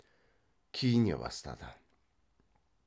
киіне бастады